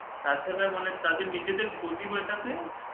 তাছাড়া তাদের নিজেদের ক্ষতি মেটাতে